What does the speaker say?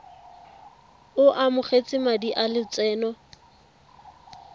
o amogetse madi a lotseno